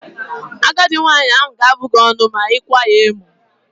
Agadi nwaanyị ahụ ga-abụ gị ọnụ ma ị kwaa ya emo.